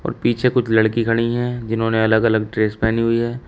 पीछे कुछ लड़की खड़ी हैं जिन्होंने अलग अलग ड्रेस पहनी हुई है।